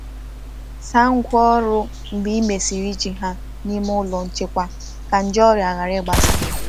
Saa ngwa ọrụ mgbe e mesịrị iji ha n’ime ụlọ nchekwa ka nje ọrịa ghara ịgbasa.